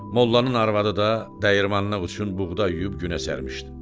Mollanın arvadı da dəyirmanlıq üçün buğda yuyub günə sərmişdi.